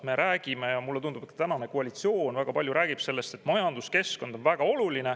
Me räägime ja mulle tundub, et ka tänane koalitsioon väga palju räägib sellest, et majanduskeskkond on väga oluline.